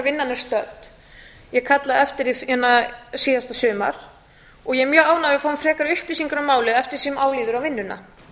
vinnan er stödd ég kallaði eftir því síðasta sumar og ég er mjög ánægð með að við fáum frekari upplýsingar um málið eftir því sem á líður um vinnuna